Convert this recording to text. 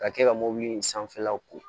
Ka kɛ ka mɔbili in sanfɛlaw ko